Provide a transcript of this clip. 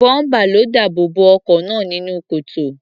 Bọ́ḿpà ló dáàbò bo ọkọ̀ náà nínú kòtò.